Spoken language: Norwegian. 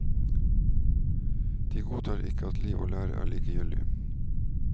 De godtar ikke at liv og lære er likegyldig.